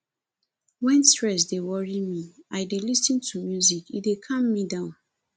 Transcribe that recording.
wen stress dey worry me i dey lis ten to music e dey calm me down